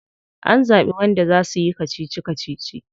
An zabi wanda za suyi kacici kacici?